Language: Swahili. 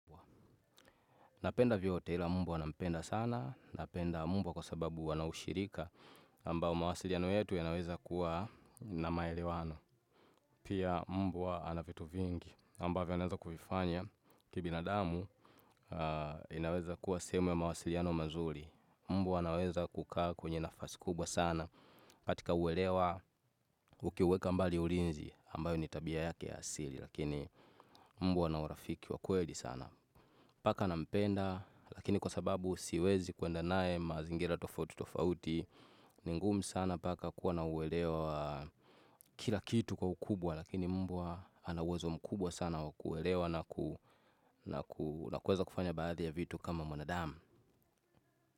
Napenda vyote ila mbwa napenda sana, napenda mbwa kwa sababu ana ushirika ambao mawasiliano yetu yanaweza kuwa na maelewano. Pia mbwa ana vitu vingi ambavyo anaweza kuvifanya kibinadamu inaweza kuwa sehemu ya mawasiliano mazuri. Mbwa anaweza kukaa kwenye nafasi kubwa sana katika uelewa ukiweka mbali ulinzi ambayo ni tabia yake ya asili lakini mbwa ana urafiki wa kweli sana. Paka nampenda, lakini kwa sababu siwezi kwenda naye mazingira tofauti tofauti, ni ngumu sana paka kuwa na uelewa kila kitu kwa ukubwa, lakini mbwa ana uwezo mkubwa sana wa kuelewa na kuweza kufanya baadhi ya vitu kama mwanadamu.